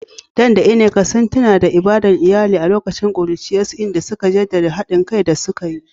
Dan da Nneka sun tuna da ibadar iyali a lokacin ƙuruciyarsu, inda suka jaddada haɗin kai da suka yi.